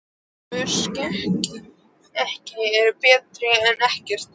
Tvö skeyti eru betra en ekkert.